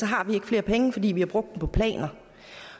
har vi ikke flere penge fordi vi har brugt dem på planer